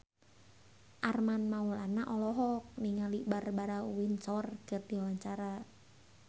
Armand Maulana olohok ningali Barbara Windsor keur diwawancara